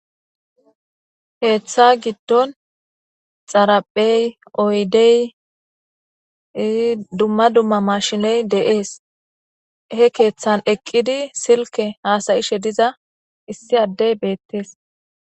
Heeththa giddon xaraphey oydey dumma dumma mashiney de'ees he keeththan eqqidi silke haasayishe diza issi addey beettees